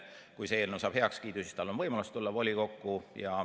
Kui see eelnõu saab heakskiidu, siis tal on võimalus tulla volikokku.